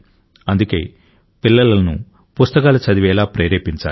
అందుకే పిల్లలను పుస్తకాలు చదివేలా ప్రేరేపించాలి